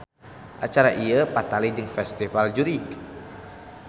Acara ieu patali jeung festival jurig.